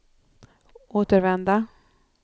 återvända